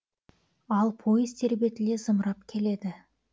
ал пойыз тербетіле зымырап келеді